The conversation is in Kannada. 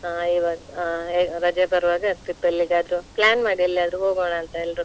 ಹಾ ಇವಾಗ್ ಅಹ್ ರಜೆ ಬರ್ವಾಗ trip ಎಲ್ಲಿಯಾದ್ರೂ plan ಮಾಡಿ ಎಲ್ಲಿ ಆದ್ರೂ ಹೋಗೋಣ ಅಂತ ಎಲ್ರು